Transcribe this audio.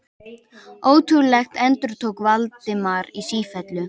Ótrúlegt endurtók Valdimar í sífellu.